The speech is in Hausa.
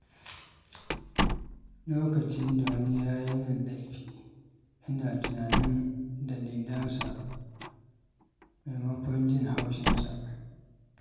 Lokacin da wani ya yi min laifi, ina tunanin dalilansa maimakon jin haushinsa.